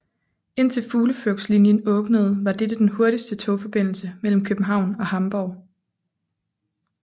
Indtil Fugleflugtslinjen åbnede var dette den hurtigste togforbindelse mellem København og Hamborg